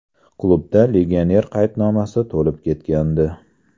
Klubda legioner qaydnomasi to‘lib ketgandi.